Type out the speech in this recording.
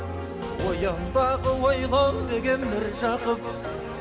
оян дағы ойлан деген міржақып